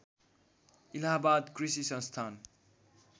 इलाहाबाद कृषि संस्थान